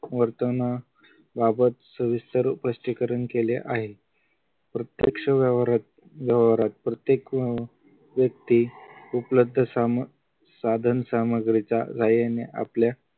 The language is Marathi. वर्तना बाबत सविस्तर स्पष्टीकरण केले आहे प्रत्यक्ष व्यवहारात व्यवहारात प्रत्येक व्यक्ती उपलब्ध साधनसामग्रीच्या साह्याने आपल्या